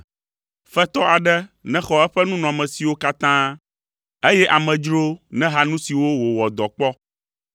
Fetɔ aɖe nexɔ eƒe nunɔmesiwo katã, eye amedzrowo neha nu siwo wòwɔ dɔ kpɔ.